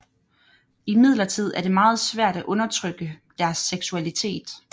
Imidlertid er det meget svært at undertrykke deres seksualitet